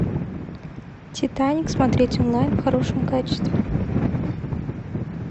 титаник смотреть онлайн в хорошем качестве